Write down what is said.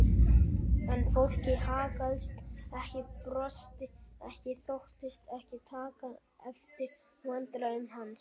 En fólkið haggaðist ekki, brosti ekki, þóttist ekki taka eftir vandræðum hans.